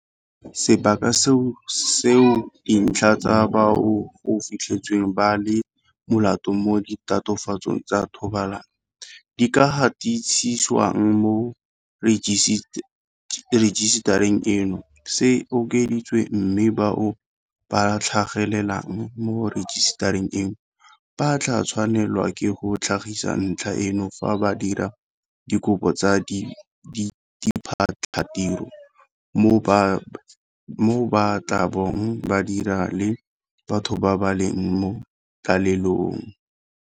Sebaka seo dintlha tsa bao go fitlhetsweng ba le molato mo ditatofatsong tsa thobalano di ka gatisiswang mo rejisetareng eno se okeditswe, mme bao ba tlhagelelang mo rejisetareng eno ba tla tshwanelwa ke go tlhagisa ntlha eno fa ba dira dikopo tsa diphatlhatiro mo ba tla bong ba dira le batho ba ba leng mo tlalelong.